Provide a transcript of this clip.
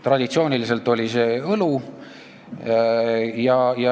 Traditsiooniliselt on see olnud õlu.